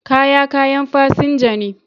Kaya kayan fasinja ne.